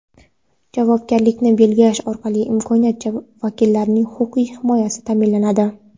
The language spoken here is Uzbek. javobgarlikni belgilash orqali hokimiyat vakillarining huquqiy himoyasi ta’minlanadi.